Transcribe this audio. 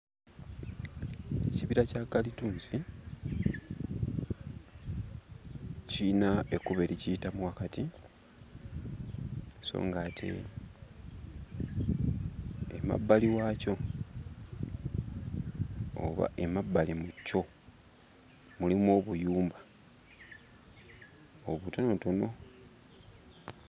Ekibira kya kalitunsi kiyina ekkubo erikiyitamu wakati so ng'ate emabbali waakyo oba emabbali mu kyo mulimu obuyumba obutonotono.